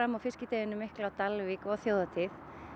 á fiskideginum mikla á Dalvík og þjóðhátíð